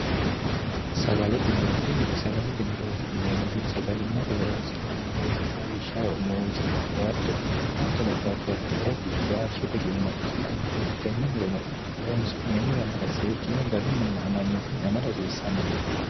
sagalete murootinni sagalete murooti ineemmohi sagalimmate horoonsi'nanni murooti lawishshaho muuse awuqaatto hattono babbaxxiyooti gaashshete gumma ikkitannoreettitenne murono horoonsi'neemmo yannara seekkine garunninna amanyootunni ama rhasiissannonke